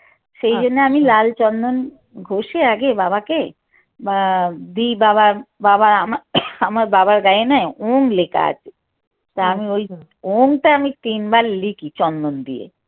সেই জন্য আমি লাল চন্দন ঘষে আগে বাবাকে আহ দিই বাবার আমার আমার বাবার গায়ে না ওম লেখা আছে তা আমি ওই ওমটা আমি তিনবার লিখি চন্দন দিয়ে